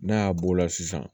N'a y'a b'o la sisan